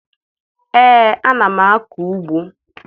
Ee, ana m akọ ugbo